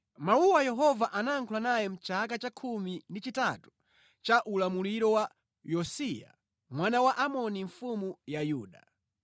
Mawuwa Yehova anayankhula naye mʼchaka cha 13 cha ulamuliro wa Yosiya mwana wa Amoni mfumu ya Yuda.